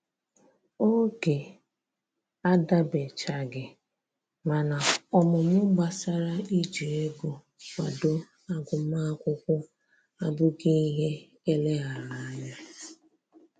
Oge adabanyechaghị, mana ọmụmụ gbasara iji ego kwado agụmakwụkwọ abụghị ihe eleghara anya